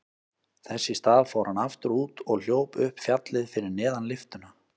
Þess í stað fór hann aftur út og hljóp upp fjallið fyrir neðan lyftuna.